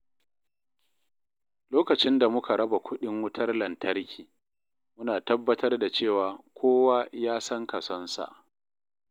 Lokacin da muka raba kuɗin wutar lantarki, muna tabbatar da cewa kowa ya san kasonsa.